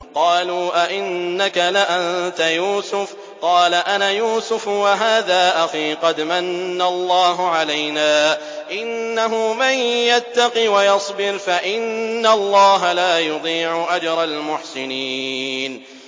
قَالُوا أَإِنَّكَ لَأَنتَ يُوسُفُ ۖ قَالَ أَنَا يُوسُفُ وَهَٰذَا أَخِي ۖ قَدْ مَنَّ اللَّهُ عَلَيْنَا ۖ إِنَّهُ مَن يَتَّقِ وَيَصْبِرْ فَإِنَّ اللَّهَ لَا يُضِيعُ أَجْرَ الْمُحْسِنِينَ